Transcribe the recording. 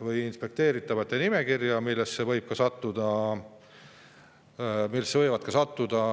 või inspekteeritavate nimekirja, millesse ka põllumajandustootjad võivad sattuda.